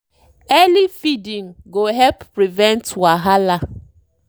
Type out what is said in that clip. early feeding go help prevent wahala.